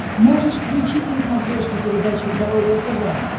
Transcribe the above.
можешь включить на смотрешке передачу здоровое тв